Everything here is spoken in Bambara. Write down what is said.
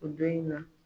O don in na